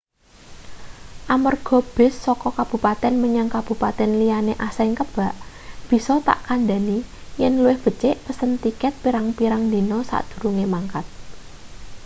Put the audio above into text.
amarga bis saka kabupaten menyang kabupaten liyane asring kebak bisa tak kandani yen luwih becik pesen tiket pirang-pirang dina sadurunge mangkat